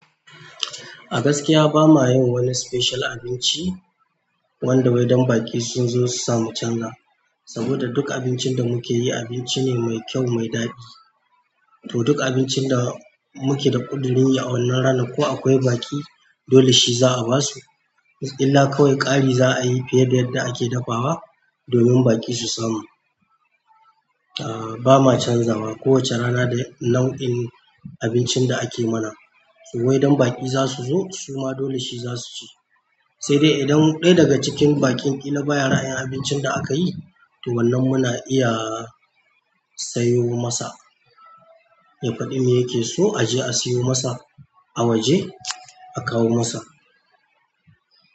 A gaskiya ba ma yin wani special abinci wanda wai dan baki sunzo susa mu chanza, saboda duk abincin da mukeyi abinci ne mai kyau mai daɗi to duk abincin da muke da kuɗurin yi a wannan ranan ko akwai baƙi, dole shi za mu basu. Illa kawai ƙari za a yi fiye da yadda ake dafawa domin baƙi su samu. Aaa, ba ma canza wa kowacce rana da nau'in abincin da ake mana. To waidan baƙi za su zo suma dole shi za su ci. Sai dai idan ɗaya daga cikin baƙin kila baya ra'ayin abincin da aka yi, to wannan muna iya sayo masa. Ya faɗi me yake so a je a sayo masa a waje a kawo masa.